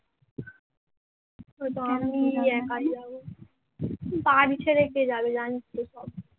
বাড়ি ছেড়ে কে যাবে জানিস তো সব